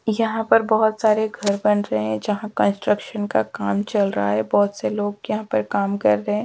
यहाँ पर बहोत सारे घर बन रहे हैं जहाँ कंस्ट्रक्शन का काम चल रहा है बहोत से लोग यहाँ पर काम कर रहे हैं।